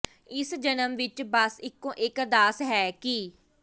ਇਸ ਜਨਮ ਵਿੱਚ ਬਸ ਇੱਕੋ ਇੱਕ ਅਰਦਾਸ ਹੈ ਕਿ